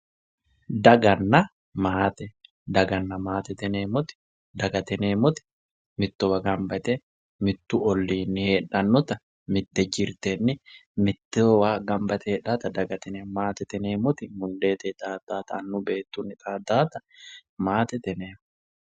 Daganna maate, daganna maatete yineemmoti ,dagate yineemmoti mittowa gamba yte mitu ollinni heedhanotta mite jirtenni mittowa gamba yte heedhannotta dagate yineemmo, maatete yineemmoti daganna maate yineemmoti, dagate yineemmoti mittowa gamba yte.